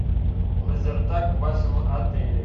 лазертаг в вашем отеле